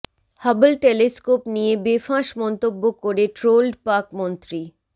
Hubble telescope নিয়ে বেফাঁস মন্তব্য করে ট্রোলড পাক মন্ত্রী